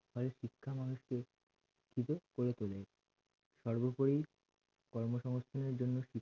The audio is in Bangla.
গড়ে তোলে সর্বোপরি কর্ম সংস্থানের জন্য